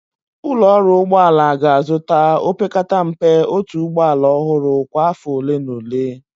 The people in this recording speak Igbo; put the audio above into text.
Ụlọ ọrụ ụgbọ ala ga-azụta, opekata mpe otu ụgbọ ala ọhụrụ kwa afọ ole na ole.